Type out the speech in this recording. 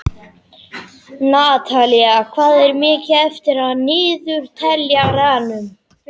Natalí, hvað er mikið eftir af niðurteljaranum?